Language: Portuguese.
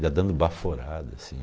Já dando baforada, assim.